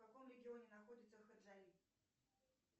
в каком регионе находится хаджави